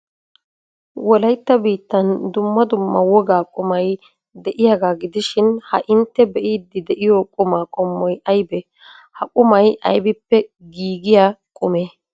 Wolaytta biittan dumma dumma wogaa qumay de'iyagaa gidishin ha intte be'iiddi de'iyo qumaa qommoy aybee? Ha qumay aybippe giigiya qumee?